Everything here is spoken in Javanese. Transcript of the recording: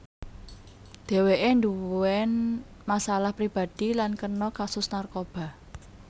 Dheweke nduwén masalah pribadi lan kena kasus narkoba